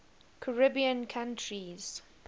caribbean countries